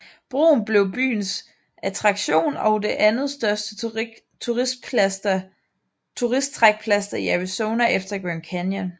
Broen blev byens attraktion og det andetstørste turisttrækplaster i Arizona efter Grand Canyon